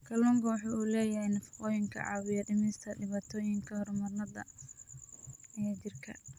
Kalluunku waxa uu leeyahay nafaqooyin caawiya dhimista dhibaatooyinka hormoonnada ee jidhka.